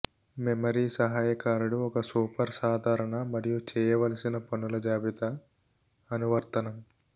memory సహాయకారుడు ఒక super సాధారణ మరియు చేయవలసిన పనుల జాబితా అనువర్తనం